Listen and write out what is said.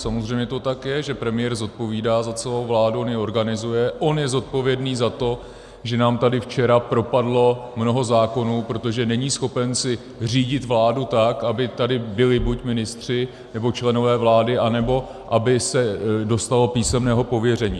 Samozřejmě to tak je, že premiér zodpovídá za celou vládu, on ji organizuje, on je zodpovědný za to, že nám tady včera propadlo mnoho zákonů, protože není schopen si řídit vládu tak, aby tady byli buď ministři, nebo členové vlády, anebo aby se dostalo písemného pověření.